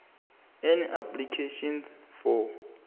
an application for